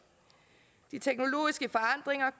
de teknologiske forandringer